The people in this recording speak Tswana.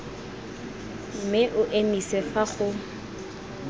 mme o emise fa go